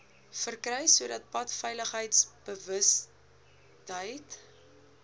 verkry sodat padveiligheidsbewustheid